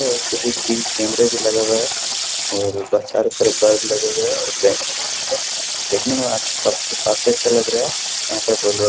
एगो सी.सी.टी.वी. कैमरे भी लगा हुआ है और बस चारों तरफ बल्ब लगे हुए हैं और बेंच - उंच है देखने में अच्छी काफी काफी अच्छा लग रहा है यहाँ पे --